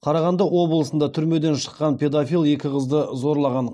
қарағанды облысында түрмеден шыққан педофил екі қызды зорлаған